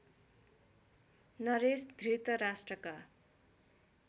Naresh धृतराष्ट्रका